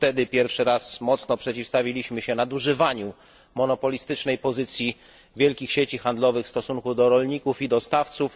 Wtedy po raz pierwszy mocno przeciwstawiliśmy się nadużywaniu monopolistycznej pozycji wielkich sieci handlowych w stosunku do rolników i dostawców.